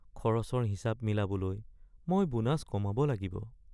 খৰচৰ হিচাপ মিলাবলৈ মই বোনাছ কমাব লাগিব।